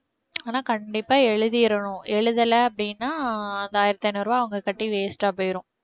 ஆனா கண்டிப்பா எழுதிடணும் எழுதல அப்படின்னா அங்க ஆயிரத்து ஐநூறு ரூபாய் அவங்க கட்டி waste ஆ போயிடும்